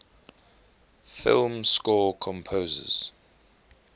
film score composers